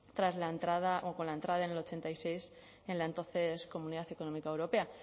con la entrada en el ochenta y seis en la entonces comunidad económica europea